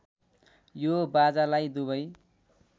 यो बाजालाई दुवै